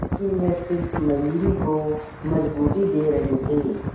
लेकिन ये सिर्फ मयूरी को मजबूती दे रहे थे